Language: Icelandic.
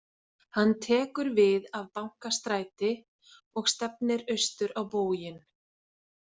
Hann tekur við af Bankastræti og stefnir austur á bóginn.